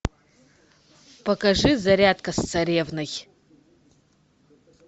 покажи зарядка с царевной